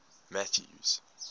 mathews